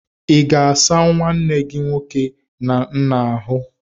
Ị ga-asa nwanne gi nwoke na nna ahụ?